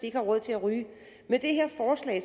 ikke har råd til at ryge